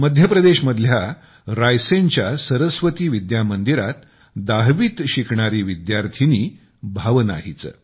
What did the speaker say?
मध्यप्रदेश मधल्या रायसेनच्या सरस्वती विद्या मंदिरात 10वीत शिकणारी विद्यार्थिनी भावना हिचे